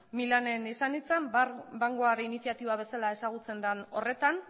milanen izan nintzen iniziatiba bezala ezagutzen den horretan